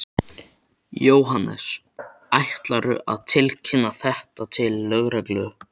Jóhannes: Ætlarðu að tilkynna þetta til lögreglu?